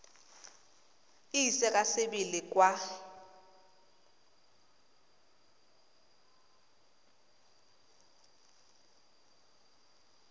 e ise ka sebele kwa